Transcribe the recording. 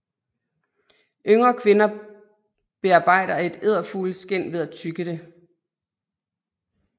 Yngre kvinder bearbejder et edefugleskind ved at tygge det